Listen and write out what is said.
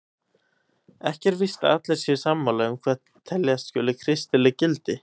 Ekki er víst að allir séu sammála um hvað teljast skuli kristileg gildi.